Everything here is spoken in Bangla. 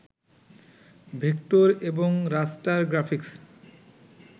ভেক্টর এবং রাস্টার গ্রাফিক্স